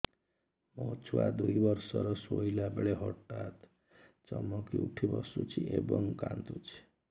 ମୋ ଛୁଆ ଦୁଇ ବର୍ଷର ଶୋଇଲା ବେଳେ ହଠାତ୍ ଚମକି ଉଠି ବସୁଛି ଏବଂ କାଂଦୁଛି